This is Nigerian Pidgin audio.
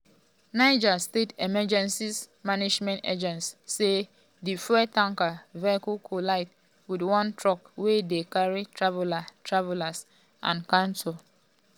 niger um state emergency management agency (nsema) say di fuel tanker vehicle collide wit one truck wey dey carry travellers travellers and cattle.